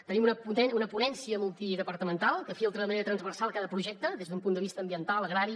tenim una ponència multidepartamental que filtra de manera transversal cada projecte des d’un punt de vista ambiental agrari